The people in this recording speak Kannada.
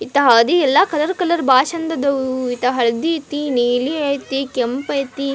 ಎಂಥ ಹಳ್ದಿ ಎಲ್ಲ ಕಲರ್ ಕಲರ್ ಎಲ್ಲ ಬಾಳ್ ಚಂದ್ ಅದಾವು ಇಂಥ ಹಳ್ದಿ ಅಯ್ತಿ ನೀಲಿ ಅಯ್ತಿ ಕೆಂಪ್ ಅಯ್ತಿ--